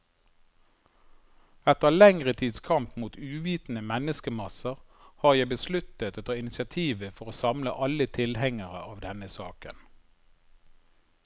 Etter lengre tids kamp mot uvitende menneskemasser, har jeg besluttet å ta initiativet for å samle alle tilhengere av denne saken.